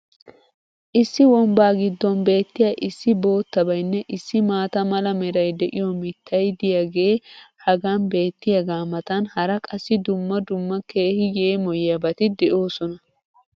issi wombbaa giddon beettiya issi bootabaynne issi maata mala meray de'iyo mitay diyaagee hagan beettiyaagaa matan hara qassi dumma dumma keehi yeemoyiyaabati de'oosona.